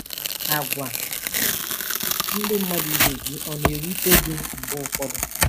Àgwà ndị mmadụ ibe gị ọ̀ na-ewute gị mgbe ụfọdụ?